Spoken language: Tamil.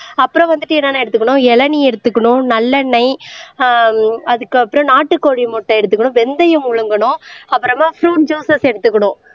அப்புறம் வந்துட்டு என்னென்ன எடுத்துக்கணும் இளநீர் எடுத்துக்கணும் நல்லெண்ணெய் ஆஹ் அதுக்கப்புறம் நாட்டுக்கோழி முட்டை எடுத்துக்கணும் வெந்தயம் முழுங்கணும் அப்புறமா ப்ரூட் ஜுசஸ் எடுத்துக்கணும்